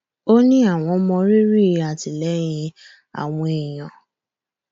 ó ní àwọn mọ rírì àtìlẹyìn àwọn èèyàn